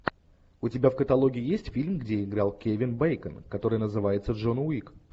у тебя в каталоге есть фильм где играл кевин бейкон который называется джон уик